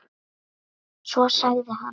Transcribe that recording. Svo sagði hann